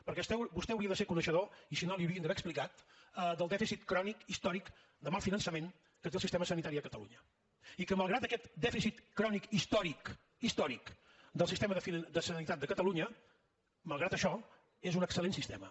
perquè vostè hauria de ser coneixedor i si no l’hi haurien d’haver explicat del dèficit crònic històric de mal finançament que té el sistema sanitari a catalunya i que malgrat aquest dèficit crònic històric històric del sistema de sanitat de catalunya malgrat això és un excel·lent sistema